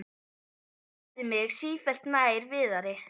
Sem færði mig sífellt nær Viðari.